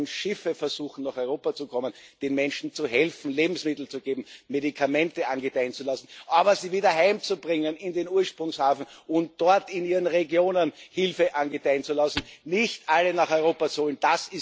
Und wenn Schiffe versuchen, nach Europa zu kommen, den Menschen zu helfen, ihnen Lebensmittel zu geben, Medikamente angedeihen zu lassen, aber sie wieder heimzubringen in den Ursprungshafen und dort in ihren Regionen Hilfe angedeihen zu lassen und nicht alle nach Europa zu holen.